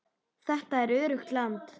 Þetta er öruggt land.